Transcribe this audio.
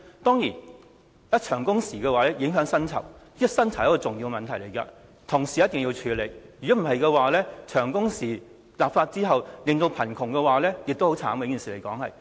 當然，限制長工時會影響薪酬，而薪酬是一個重要問題，必須同時處理；否則，立法限制長工時後引起貧窮，也是一件慘事。